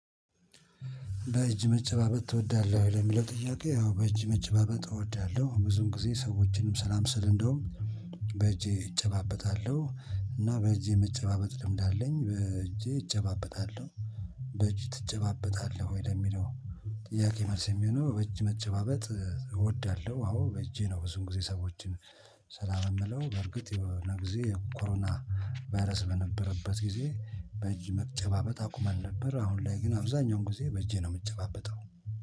በእጅ መጨባበጥ ትወዳለሁ ወይ ለሚለው ጥያቄ ያው በእጅ መጨባበጥ እወዳለሁ ብዙም ጊዜ ሰዎችንም ሰላም ስል እንደውም በእጄ እጨባበጣለሁ እና በእጄ መጨባበጥ ልምድ አለኝ በእጄ እጨባበጣለሁ እጅ ትጨባበጣለህ ወይ ለሚለው ጥያቄ መልስ የሚሆነው እጅ መጨባበጥ እወዳለሁ። አዎ በእጄ ነው። ብዙ ጊዜ ሰዎችን ሰላም የምለው በርግጥ የሆነ ጊዜ ኮሮና ባይርስ በነበረበት ጊዜ በእጅ መጨባበጥ አቁመን ነበር። አሁን ላይ ግን አብዛኛውን ጊዜ በእጄ ነው የምጨባበጠው